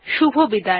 শুভবিদায়